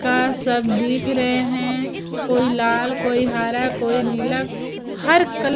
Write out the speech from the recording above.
का सब दिख रहे हैं कोई लाल कोई हरा कोई नीला हर कल--